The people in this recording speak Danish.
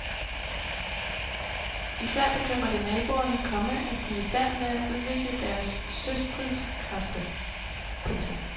Især bekymrer det naboerne, komma at de er i færd med at udvikle deres søstridskræfter. punktum